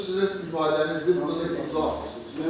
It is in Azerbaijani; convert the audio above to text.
Bu sizin ifadənizdir, buna da imza atmışınız.